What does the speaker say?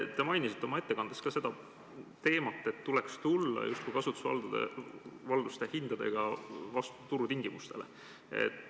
Te mainisite oma ettekandes ka seda teemat, et kasutusvalduse hindade puhul tuleks justkui vastu tulla turu tingimustele.